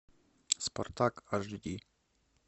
спартак аш ди